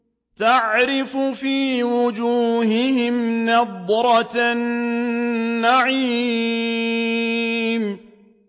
تَعْرِفُ فِي وُجُوهِهِمْ نَضْرَةَ النَّعِيمِ